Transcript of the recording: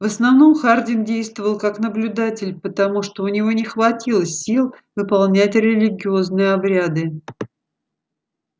в основном хардин действовал как наблюдатель потому что у него не хватило сил выполнять религиозные обряды